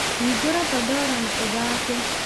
hingũra pandora na ũthaake